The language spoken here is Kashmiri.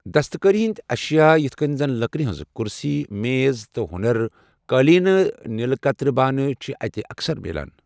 دستكٲری ہٕنٛدۍ اشیا یِتھ کٔنۍ زن لكرِ ہٕنٛزٕ كُرسی میز تہٕ ہونر، قٲلینہٕ، نیلہِ كترِ بانہٕ چھِ اتہِ اكثر مِلان۔